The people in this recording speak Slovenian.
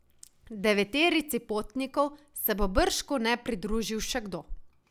Deveterici potnikov se bo bržkone pridružil še kdo.